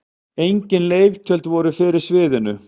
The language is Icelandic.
Engin leiktjöld voru fyrir sviðinu.